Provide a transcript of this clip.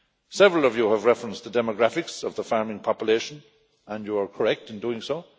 Several of you have referenced the demographics of the farming population, and you are correct in doing